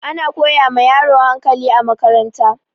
Ana koya ma yaro hakali a makaranta